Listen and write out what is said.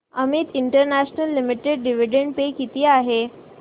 Amit international limited dividend pay किती आहे